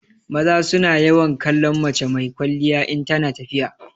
Maza su na yawan kallon mace mai kwalliya in tana tafiya.